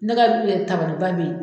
Ne ka tabariba be ye